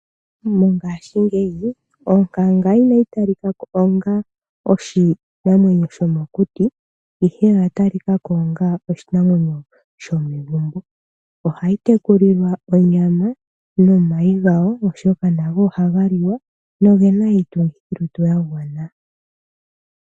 Mongashingeyi onkanga inayi talika ko onga oshinamwenyo shomokuti, ihe oya talika ko onga oshinamwenyo shomegumbo. Ohayi tekulilwa onyama nomayi gayo, oshoka nago ohaga liwa noge na iitungithilutu ya gwana.